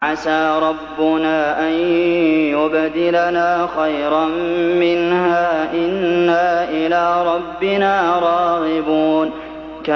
عَسَىٰ رَبُّنَا أَن يُبْدِلَنَا خَيْرًا مِّنْهَا إِنَّا إِلَىٰ رَبِّنَا رَاغِبُونَ